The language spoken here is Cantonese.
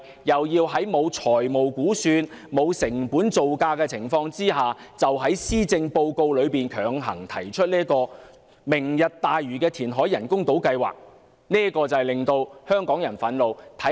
如今在沒有財務估算、沒有成本造價的情況下，特首便於施政報告內強行提出"明日大嶼"人工島填海計劃，這實在令香港人感到憤怒。